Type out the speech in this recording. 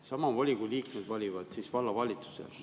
Sama volikogu liikmed valivad vallavalitsuse.